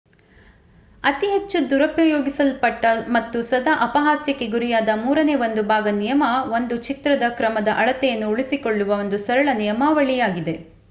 ಅತಿ ಹೆಚ್ಚು ದುರುಪಯೋಗಿಸಲ್ಪಟ್ಟ ಮತ್ತು ಸದಾ ಅಪಹಾಸ್ಯಕ್ಕೆ ಗುರಿಯಾದ ಮೂರನೇ ಒಂದು ಭಾಗ ನಿಯಮ ಒಂದು ಚಿತ್ರದ ಕ್ರಮದ ಅಳತೆಯನ್ನು ಉಳಿಸಿಕೊಳ್ಳುವ ಒಂದು ಸರಳ ನಿಯಮಾವಳಿಯಾಗಿದೆ